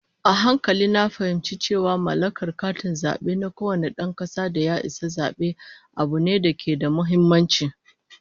A hankali na fahimci cewa mallakar katin zabe na kowane dan kasa da ya isa zabe, abu ne da ke da muhimmanci